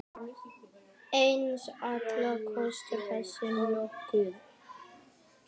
En allt kostar þetta nokkuð.